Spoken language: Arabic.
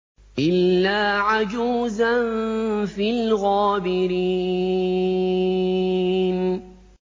إِلَّا عَجُوزًا فِي الْغَابِرِينَ